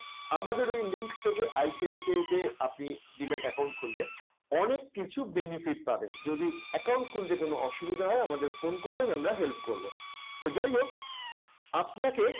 আমাদের ওই link থেকে ICICI তে আপনি demat account খুললে অনেক কিছু benefit পাবেন। যদি account খুলতে কোন অসুবিধা হয় আমাদেরকে phone করবেন আমরা help করব। তো যাই হোক আপনাকে